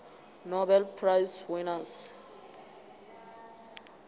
nobel prize winners